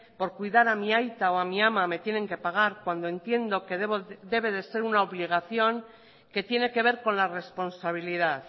por cuidar a mi aita o a mi ama me tienen que pagar cuando entiendo que debe de ser una obligación que tiene que ver con la responsabilidad